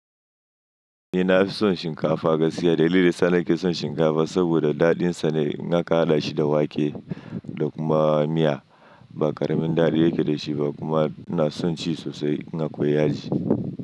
Ni na fi son shinkafa gaskiya. Dalilin sa na ke son shinkafa saboda daɗin sa ne, in aka haɗa shi da wake da kuma miya. Ba ƙaramin daɗi yake dashi ba kuma ina son ci sosai. In akwai yaji.